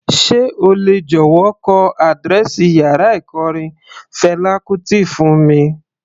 Sé o lè jọ̀wọ́ kọ àdírẹ́ẹ̀sì yàrá ikọrin Fela Kuti fún mi?